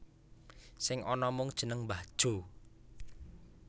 Sing ana mung jeneng Mbah Jo